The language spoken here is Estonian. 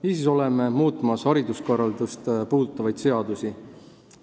Niisiis oleme muutmas hariduskorraldust puudutavaid seadusi.